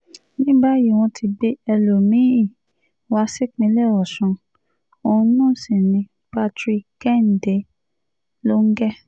ní báyìí wọ́n ti gbé ẹlòmí-ín wá sípínlẹ̀ ọ̀ṣùn òun náà sí ní patrick kẹ́hìndé lọnge